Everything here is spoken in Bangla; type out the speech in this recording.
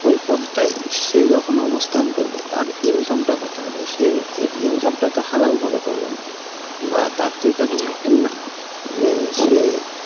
ওই পদটাই সে যখন অবস্থান করবে তার income টা কত হবে সে এই income টা তো হালালভাবে করবে না বা তার তো এটা যে সে,